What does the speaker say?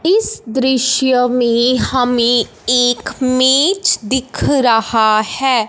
इस दृश्य में हमें एक मेज दिख रहा है।